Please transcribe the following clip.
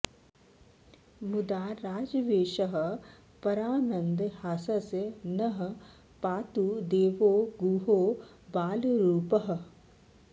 मुदा राजवेषः परानन्दहासस्स नः पातु देवो गुहो बालरूपः